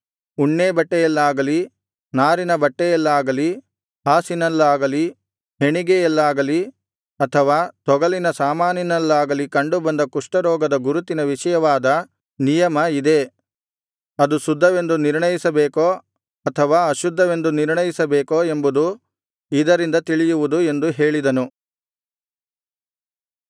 ಉಣ್ಣೇ ಬಟ್ಟೆಯಲ್ಲಾಗಲಿ ನಾರಿನ ಬಟ್ಟೆಯಲ್ಲಾಗಲಿ ಹಾಸಿನಲ್ಲಾಗಲಿ ಹೆಣಿಗೆಯಲ್ಲಾಗಲಿ ಅಥವಾ ತೊಗಲಿನ ಸಾಮಾನಿನಲ್ಲಾಗಲಿ ಕಂಡುಬಂದ ಕುಷ್ಠರೋಗದ ಗುರುತಿನ ವಿಷಯವಾದ ನಿಯಮ ಇದೇ ಅದು ಶುದ್ಧವೆಂದು ನಿರ್ಣಯಿಸಬೇಕೋ ಅಥವಾ ಅಶುದ್ಧವೆಂದು ನಿರ್ಣಯಿಸಬೇಕೋ ಎಂಬುದು ಇದರಿಂದ ತಿಳಿಯುವುದು ಎಂದು ಹೇಳಿದನು